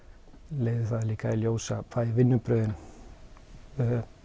leiðir það líka í ljós að vinnubrögðin